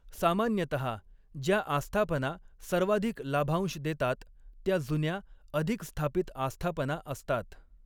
सामान्यतः, ज्या आस्थापना सर्वाधिक लाभांश देतात त्या जुन्या, अधिक स्थापित आस्थापना असतात.